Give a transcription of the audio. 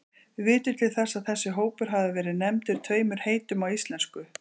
Við vitum til þess að þessi hópur hafi verið nefndur tveimur heitum á íslensku.